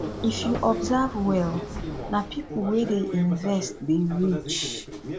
if you observe well na pipo wey dey invest dey rich